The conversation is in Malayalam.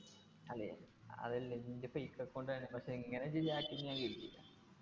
അല്ലെ അതല്ലേ നിൻ്റെ fake account എങ്ങനെ ശരിയാക്കിന്നു ഞാൻ